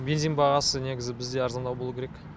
бензин бағасы негізі бізде арзандау болуы керек